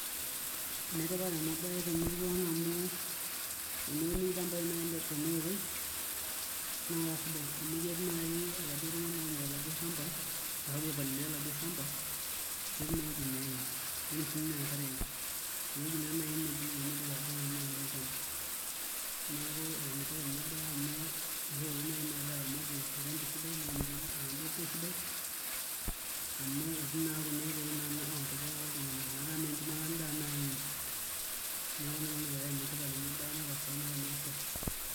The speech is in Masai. Enetipat ena baye naai temurua ang' amu teneuni ilchambai tenaoitoi naa kasidai amu ketii naai oladuo tung'anak naa oturito oladuo shamba ashu ogira aipalilia oladuo shamba netum siinye enkare eneimu atijing'a naai olchamba neeku enetipat naa ena baye amu sidai enetai oramatie lolchamba esidai amu etii naa Kuna oitoi oonkejek oltung'anak metaa mee enchumata endaa naai iim neeku ina peenetipat naa ena baye.